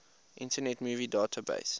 internet movie database